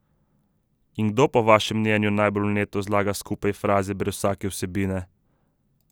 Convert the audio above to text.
In kdo, po vašem mnenju, najbolj vneto zlaga skupaj fraze brez vsake vsebine?